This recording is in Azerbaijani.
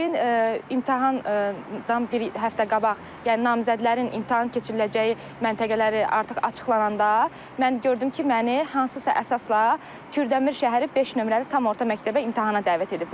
Lakin imtahandan bir həftə qabaq, yəni namizədlərin imtahan keçiriləcəyi məntəqələri artıq açıqlananda, mən gördüm ki, məni hansısa əsasla Kürdəmir şəhəri 5 nömrəli tam orta məktəbə imtahana dəvət ediblər.